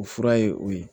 O fura ye o ye